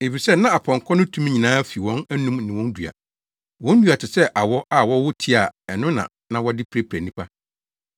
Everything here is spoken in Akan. Efisɛ na apɔnkɔ no tumi nyinaa fi wɔn anom ne wɔn dua. Wɔn dua te sɛ awɔ a wɔwɔ ti a ɛno na na wɔde pira nnipa.